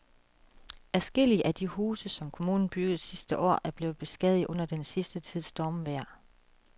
Adskillige af de huse, som kommunen byggede sidste år, er blevet beskadiget under den sidste tids stormvejr.